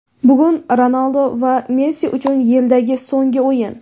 Bugun Ronaldu va Messi uchun yildagi so‘nggi o‘yin.